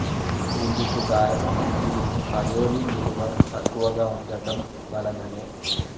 ఇందుకు కారణం దీని అయోడిన్ విలువ తక్కువగా వుండటం వలననే